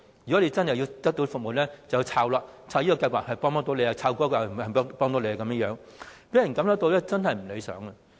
如果真的要得到服務，就要搜尋資料，看看哪個計劃能幫到你，讓人感覺真的是不理想。